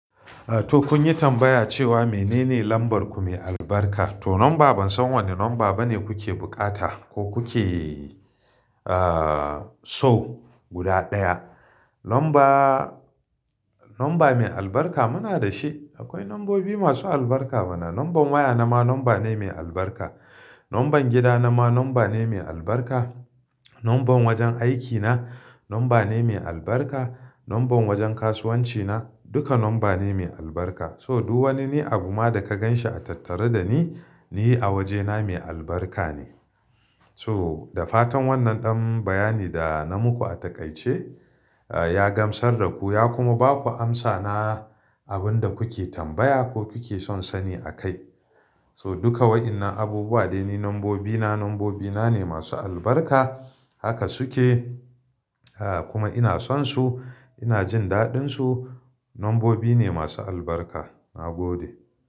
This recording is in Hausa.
To kun yi tambaya cewa menene lambar ku mai albarka? To lamba ban san wane lamba bane kuke bukata ko kuke, ah, so guda ɗaya. Lamba, lamba mai albarka muna da shi. Akwai lambobi masu albarka bana. Lambar waya na ma lamba ne mai albarka. Lambar gida na ma lamba ne mai albarka. Lambar wajen aikina lamba ne mai albarka. Lambar wajen kasuwanci na duka lamba ne mai albarka. So duk wani ne abu ma da ka ganshi a tattare da ni, ni a wajena mai albarka ne. So da fatan wannan ɗan bayani da na muku a taƙaice, ah, ya gamsar da ku ya kuma ba ku amsa na abin da kuke tambaya ko kuke son sani akai. So duka wa'innan abubuwa dai ni lambobina lambobina ne masu albarka haka suke, ah, kuma ina son su ina jin daɗinsu. Lambobi ne masu albarka. Na gode.